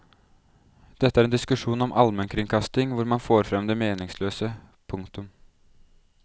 Dette er en diskusjon om almenkringkasting hvor man får frem det meningsløse. punktum